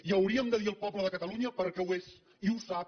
i hauríem de dir ho al poble de catalunya perquè ho és i ho sap